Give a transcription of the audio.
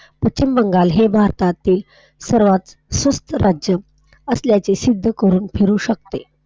पश्चिम बंगाल हे भारतातील सर्वात स्वस्त राज्य आहे. असल्याची सिद्ध करून फिरू शकते.